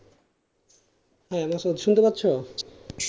hello sir শুনতে পাচ্ছ?